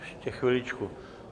Ještě chviličku.